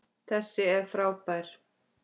Þessi er frábær!